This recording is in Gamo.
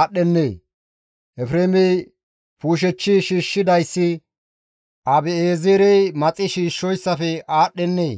aadhdhennee? Efreemey puushechchi shiishshidayssi Abi7eezerey maxi shiishshoyssafe aadhdhennee?